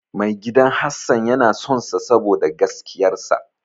Maigidan Hassan na sonsa saboda gaskiyar sa.